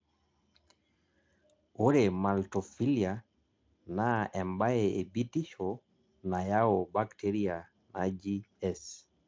ore maltophilia naa ebae ebitisho nayau bacteria naji S